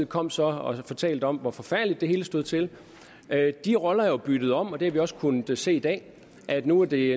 kom så og fortalte om hvor forfærdeligt det hele stod til de roller er jo byttet om og det har vi også kunnet se i dag nu er det